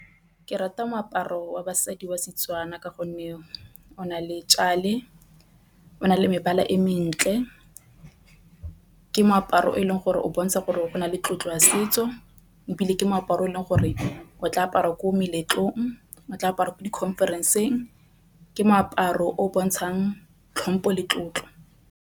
Ke rata moaparo wa basadi wa Setswana ka gonne o na le o na le mebala e mentle. Ke moaparo o e leng gore o bontsha gore o na le le tlotlo ya setso ebile ke meaparo e leng gore o tla apariwa ko meletlong o tla aparwa ko di-conference-ng. Ke moaparo o o bontshang tlhompo le tlotlo.